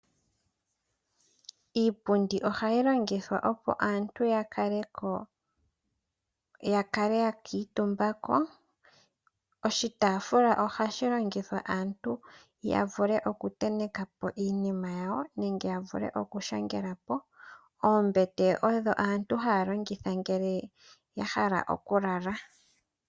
Iipundi ohayi longithwa opo aantu ya kale yakutumba ko. Oshitaafula ohashi longithwa aantu ya vule oku tenteka po iinima yawo nenge ya vulu oku shangelapo. Oombete odho aantu haya longitha ngele ya hala oku lala.